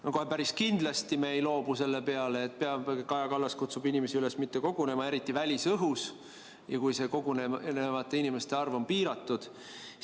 No kohe päris kindlasti me ei loobu selle peale, et Kaja Kallas kutsub inimesi üles mitte kogunema, kuigi see on välisõhus ja kuigi kogunevate inimeste arv on piiratud.